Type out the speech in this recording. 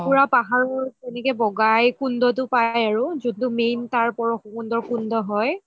পুৰা পাহাৰৰ এনেকে বগাই কুণ্ডটো পাই আৰু যোনটো main তাৰ পৰশু কুণ্ডৰ কুণ্ড হয়